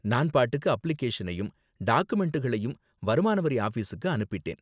நான் பாட்டுக்கு அப்ளிகேஷனையும் டாக்குமெண்டுகளையும் வருமான வரி ஆபிஸுக்கு அனுப்பிட்டேன்.